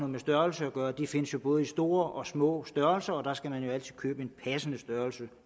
med størrelse at gøre de findes jo både i store og små størrelser og der skal man jo altid købe en passende størrelse